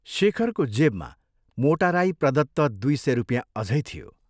शेखरको जेबमा मोटा राई प्रदत्त दुइ सय रुपियाँ अझै थियो।